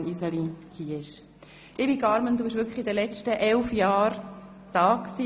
Liebe Carmen, du warst wirklich während den letzten 11 Donnerstag (Nachmittag)